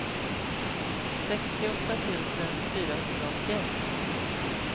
sextioåtta tusen fyrahundraåttioett